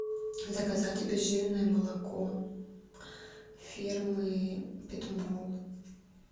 заказать обезжиренное молоко фирмы петмол